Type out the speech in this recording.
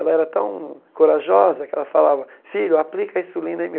Ela era tão corajosa que ela falava, filho, aplica a insulina em mim.